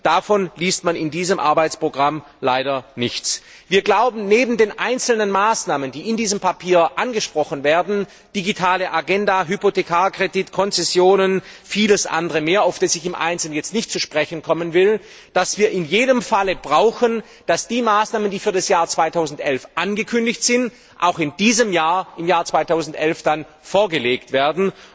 Davon liest man in diesem Arbeitsprogramm leider nichts. Wir glauben, neben den einzelnen Maßnahmen, die in diesem Papier angesprochen werden digitale Agenda, Hypothekarkredit, Konzessionen, vieles andere mehr, auf das ich im Einzelnen jetzt nicht zu sprechen kommen will, dass wir in jedem Falle brauchen, dass die Maßnahmen, die für das Jahr 2011 angekündigt sind, auch in diesem Jahr, im Jahr 2011, dann vorgelegt werden.